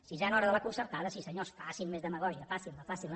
sisena hora de la concertada sí senyors facin més demagògia facin la facin la